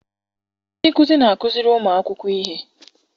Ndị nkuzi na-akụziri ụmụakwụkwọ ihe.